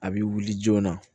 A bɛ wuli joona